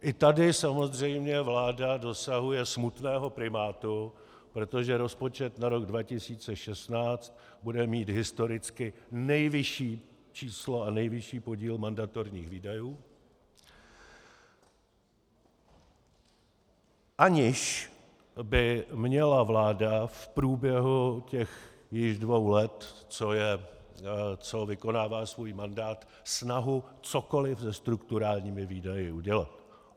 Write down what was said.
I tady samozřejmě vláda dosahuje smutného primátu, protože rozpočet na rok 2016 bude mít historicky nejvyšší číslo a nejvyšší podíl mandatorních výdajů, aniž by měla vláda v průběhu těch již dvou let, co vykonává svůj mandát, snahu cokoliv se strukturálními výdaji udělat.